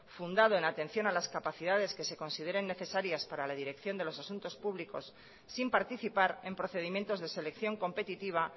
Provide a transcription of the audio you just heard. fundado en atención a las capacidades que se consideren necesarias para la dirección de los asuntos públicos sin participar en procedimientos de selección competitiva